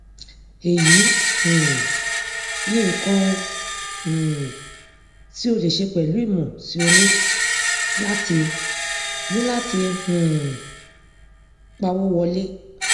èyí um ní nǹkan um tí o lè ṣe pẹlú ìmọ tí o ní láti ní láti um pawó wọlé